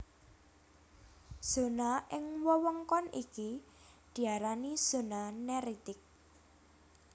Zona ing wewengkon iki diarani zona neritik